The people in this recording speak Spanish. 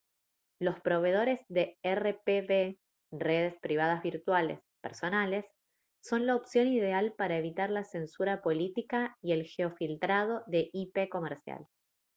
los proveedores de rpv redes privadas virtuales personales son la opción ideal para evitar la censura política y el geofiltrado de ip comercial